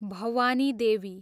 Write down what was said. Bhavani Devi